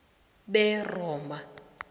beroma